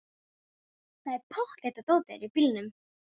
Það er pottþétt að dótið er í bílnum!